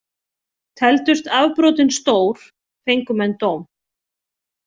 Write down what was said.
Teldust afbrotin stór, fengu menn dóm.